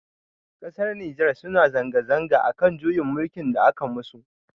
Ƙasar Nijar suna zanga zanga akan juyin mulkin da aka musu.